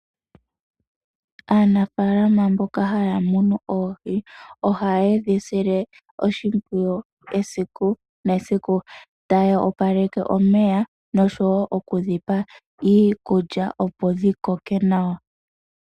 Aanafalama mboka haya munu oohi ohaye dhi sile oshipwiyu esiku nesiku, taya opaleke omeya noshowo okudhipa iikulya opo dhi koke nawa.